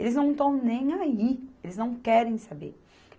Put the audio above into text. Eles não estão nem aí, eles não querem saber.